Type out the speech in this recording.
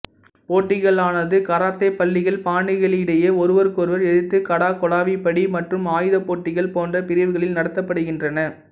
போட்டிகளானது karate பள்ளிகள் பாணிகளுக்கிடையே ஒருவருக்கொருவர் எதிர்த்து கடா கொளாவிப்பிடி மற்றும் ஆயுத போட்டிகள் போன்ற பிரிவுகளில் நடத்தப்படுகின்றன